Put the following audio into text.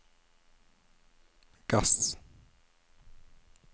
gass